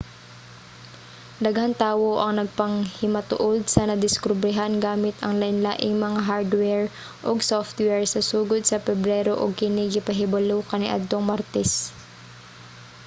daghang tawo ang nagpanghimatuod sa nadiskobrehan gamit ang lainlaing mga hardware ug software sa sugod sa pebrero ug kini gipahibalo kaniadtong martes